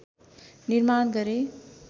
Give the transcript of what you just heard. निर्माण गरे